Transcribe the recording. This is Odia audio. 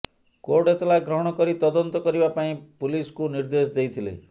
କୋର୍ଟ ଏତଲା ଗ୍ରହଣ କରି ତଦନ୍ତ କରିବା ପାଇଁ ପୁଲିସ୍କୁ ନିର୍ଦେଶ ଦେଇଥିଲେ